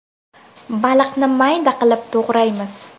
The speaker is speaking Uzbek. Baliqni mayda qilib to‘g‘raymiz.